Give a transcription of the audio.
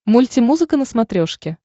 мультимузыка на смотрешке